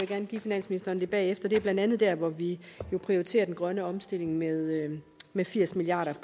gerne give finansministeren det bagefter det er blandt andet der hvor vi jo prioriterer den grønne omstilling med med firs milliard